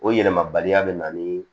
O yɛlɛmaba bɛ na ni